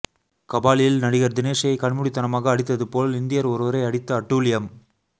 கபாலியில் நடிகர் தினேஷை கண்மூடிதனமாக அடித்தது போல் இந்தியர் ஒருவரை அடித்து அட்டூழியம்